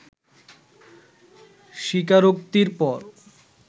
স্বীকারোক্তির পর